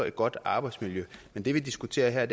et godt arbejdsmiljø men det vi diskuterer her